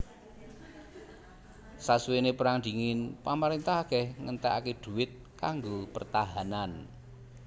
Sasuwené Perang Dingin pamarintah akèh ngentèkaké duit kanggo pertahanan